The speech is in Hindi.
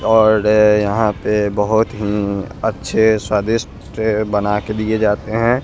और यहां पे बहुत ही अच्छे स्वादिष्ट बना के दिए जाते हैं।